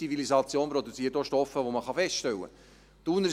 Unsere Zivilisation produziert auch Stoffe, die man feststellen kann.